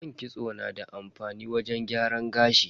Man kitso na da amfani wajen gyaran gashi.